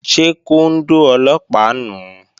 Ṣé kóndó Ọlọ́pàá nùu?